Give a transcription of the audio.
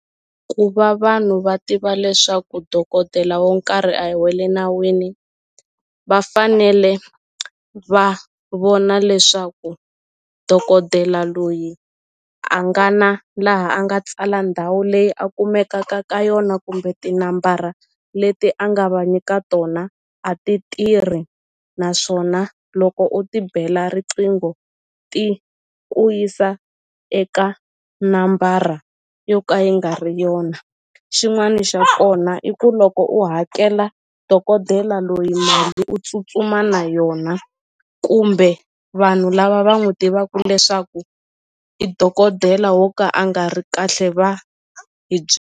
Ku va vanhu va tiva leswaku dokodela wo nkarhi a hi wa le nawini va fanele va vona leswaku dokodela loyi a nga na laha a nga tsala ndhawu leyi a kumekaka ka yona kumbe tinambara leti a nga va nyika tona a ti tirhi naswona loko u ti bela riqingho ti ku yisa eka nambara yo ka yi nga ri yona xin'wani xa kona i ku loko u hakela dokodela loyi u tsutsuma na yona kumbe vanhu lava va n'wu tivaku leswaku i dokodela wo ka a nga ri kahle va hi .